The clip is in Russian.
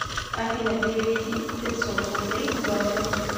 афина переведи пятьсот рублей бухгалтеру